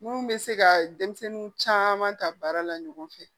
Mun bɛ se ka denmisɛnnin caman ta baara la ɲɔgɔn fɛ